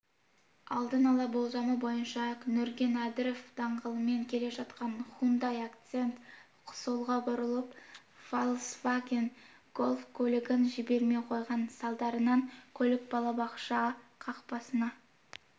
алдын-ала болжамы бойынша нүркен әбдіров даңғылымен келе жатқан хундай акцент солға бұрылып фольксваген гольф көлігін жібермей қойған салдарынан көлік балабақша қақпасына